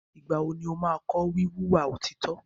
Ìgbà wo ni o máa kọ́ wí wùwà òtítọ́?